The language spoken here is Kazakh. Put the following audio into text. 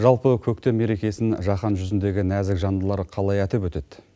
жалпы көктем мерекесін жаһан жүзіндегі нәзік жандылар қалай атап өтеді